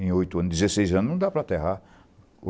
Em oito anos, dezesseis anos não dá para aterrar.